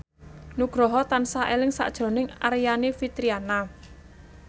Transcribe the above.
Nugroho tansah eling sakjroning Aryani Fitriana